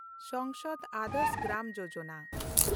Sansad Adarsh Gram Yojana